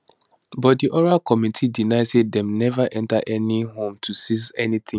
but di oral committee deny say dem neva enta any home to seize anytin